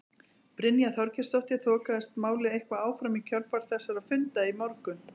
Brynja Þorgeirsdóttir: Þokaðist málið eitthvað áfram í kjölfar þessara funda í morgun?